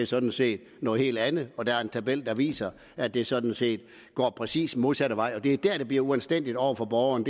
sådan set noget helt andet og der er en tabel der viser at det sådan set går præcis den modsatte vej og det er der at det bliver uanstændigt over for borgerne